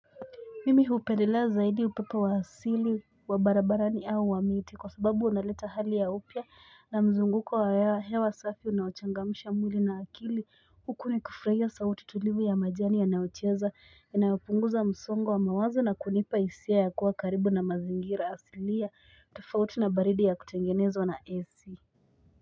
Mimi hupendelea zaidi upepo wa asili wa barabarani au wa miti kwa sababu unaleta hali ya upya na mzunguko wa ya hewa safi unaochangamisha mwili na akili huku ni kufurahia sauti tulivu ya majani ya nayocheza yanayopunguza msongo wa mawazo na kunipa hisia ya kuwa karibu na mazingira asilia tofauti na baridi ya kutengenezwa na esi.